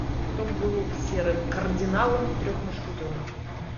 кто был серым кардиналом в трех мушкетерах